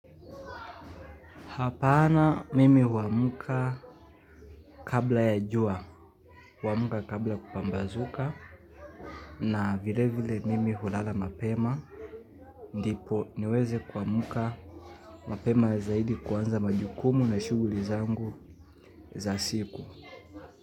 Hapana mimi huamuka kabla ya jua, huamka kabla kupambazuka, na vile vile mimi hulala mapema, ndipo niweze kuamka mapema zaidi kuanza majukumu na shuguli zangu za siku.